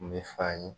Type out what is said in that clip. N bɛ fa ye